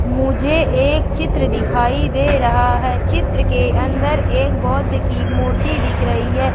मुझे एक चित्र दिखाई दे रहा है चित्र के अंदर एक बौद्ध की मूर्ति दिख रही है।